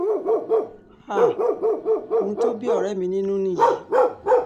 um ohun tó bí ọ̀rẹ́ mi nínú nìyí